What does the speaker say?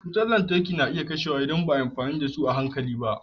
Wutar lantarki na iya kashewa idan ba a yi amfani da su a hankali ba.